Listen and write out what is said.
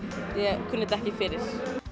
ég kunni þetta ekki fyrir